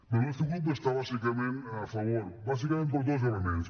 bé el nostre grup hi està bàsicament a favor bàsicament per dos elements